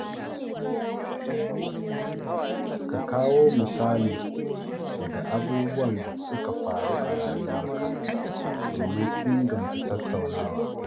Ka kawo misalai daga abubuwan da suka faru a rayuwarka domin inganta tattaunawa.